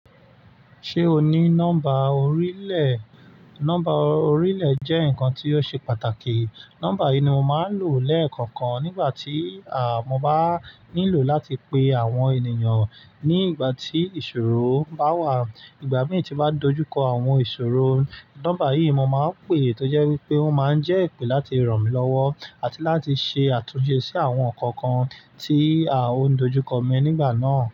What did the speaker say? Ṣé o ní nọ́mbà orí lè? Nọ́mbà orí lè jẹ́ ǹkan tí ó ṣe pàtàkì. Nọ́mbà yìí ni mo máa ń lò lẹ́ẹ̀kọ̀kan nígbà tí, à, mo bá nílò láti pe àwọn ènìyàn ní ìgbà tí ìṣòro bá wà. Ìgbà mìíràn tí bá dojúkọ àwọn ìṣòro, nọ́mbà yìí mo máa ń pè, tó jẹ́ wípé ó máa ń jẹ́ èpè láti ràn mí lọ́wọ́ àti láti ṣe àtúnṣe sí àwọn ǹnkan kan tí a ó ń dojúkọ mi nígbà náà.